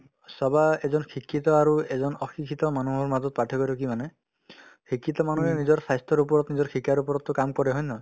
চাবা এজন শিক্ষিত আৰু এজন অশিক্ষিত মানুহৰ মাজত পাৰ্থক্যতো কি মানে শিক্ষিত মানুহে নিজৰ স্বাস্থ্যৰ ওপৰত নিজৰ শিকাৰ ওপৰতো কাম কৰে হয় নে নহয়